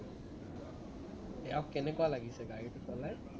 ইয়াক কেনেকুৱা লাগিছে গাড়ীটো চলাই